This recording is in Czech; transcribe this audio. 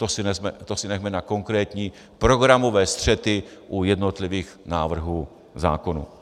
To si nechme na konkrétní programové střety u jednotlivých návrhů zákonů.